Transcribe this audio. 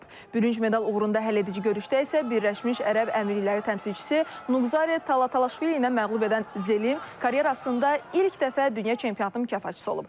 Bürünc medal uğrunda həlledici görüşdə isə Birləşmiş Ərəb Əmirlikləri təmsilçisi Nuqzarə Talaşvili ilə məğlub edən Zelim karyerasında ilk dəfə dünya çempionatının mükafatçısı olub.